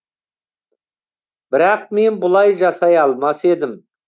бірақ мен бұлай жасай алмас едім